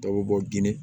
Dɔw bɛ bɔ gindo